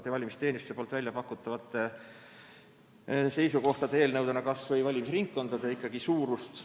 Neid on tegelikult ka Vabariigi Valimiskomisjon ja riigi valimisteenistus välja pakkunud.